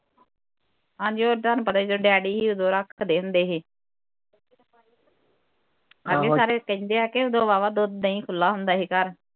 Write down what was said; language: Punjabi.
ਹਾਂ ਜੀ ਉਹ ਤੁਹਾਨੂੰ ਪਤਾ ਜਦੋਂ ਡੈਡੀ ਹੀ ਉਦੋਂ ਰੱਖਦੇ ਹੁੰਦੇ ਸੀ ਅਸੀ ਸਾਰੇ ਕਹਿੰਦੇ ਹਾਂ ਕਿ ਉਦੋਂ ਵਾਵਾ ਦੁੱਧ ਦਹੀ ਖੁੱਲਾ ਹੁੰਦਾ ਹੀ ਘਰ